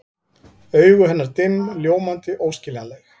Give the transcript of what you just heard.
Augu hennar dimm, ljómandi, óskiljanleg.